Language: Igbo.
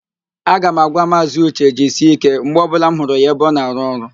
A ga m agwa Maazị ụche, "jisie ike" mgbe ọbụla m hụrụ ya ebe ọ na-arụ ọrụ